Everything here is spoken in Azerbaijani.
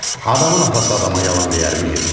Adamın atası adama yalan deyərmi heç?